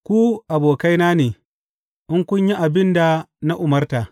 Ku abokaina ne, in kun yi abin da na umarta.